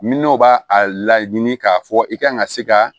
Min b'a a laɲini k'a fɔ i kan ka se ka